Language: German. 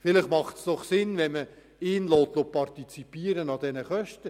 Vielleicht macht es Sinn, wenn man ihn an den Kosten partizipieren lässt.